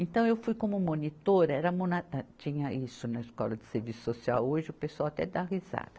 Então eu fui como monitora, era mona, ah tinha isso na Escola de Serviço Social, hoje o pessoal até dá risada.